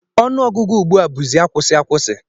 Ọnụọgụgụ ugbu a bụzi agwụsị agwụsị